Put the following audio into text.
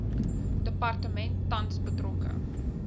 departement tans betrokke